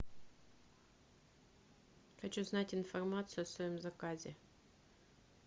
хочу знать информацию о своем заказе